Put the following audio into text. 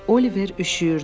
Oliver üşüyürdü.